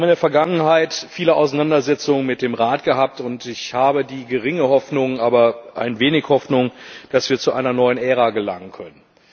Wir haben in der Vergangenheit viele Auseinandersetzungen mit dem Rat gehabt, und ich habe die geringe Hoffnung, aber doch ein wenig Hoffnung, dass wir zu einer neuen Ära gelangen können.